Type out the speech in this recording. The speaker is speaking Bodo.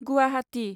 गुवाहाटी